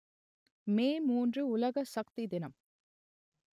மே மூன்று உலக சக்தி தினம்